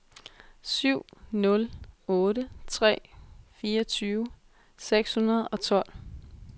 syv nul otte tre fireogtyve seks hundrede og tolv